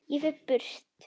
Ég fer burt.